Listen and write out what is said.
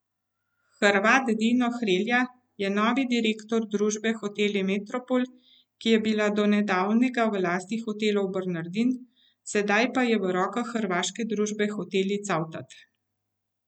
Hrvat Dino Hrelja je novi direktor družbe Hoteli Metropol, ki je bila do nedavnega v lasti Hotelov Bernardin, sedaj pa je v rokah hrvaške družbe Hoteli Cavtat.